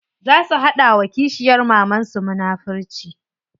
Za su hada wa kishiyar mamansu munafurci.